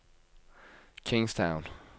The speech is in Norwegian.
Kingstown